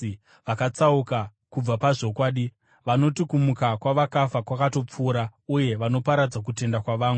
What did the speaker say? vakatsauka kubva pazvokwadi. Vanoti kumuka kwavakafa kwakatopfuura, uye vanoparadza kutenda kwavamwe.